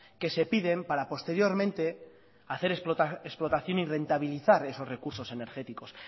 que se piden para posteriormente hacer explotación y rentabilizar esos recursos energéticos